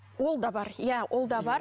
ол да бар иә ол да бар